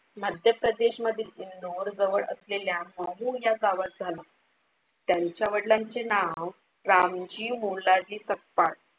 मध्यप्रदेशमधील इंदोर जवळ असलेल्या महू या गावात झाला. त्यांच्या वादलांचे नाव रामजी मोलाजी सपकाळ.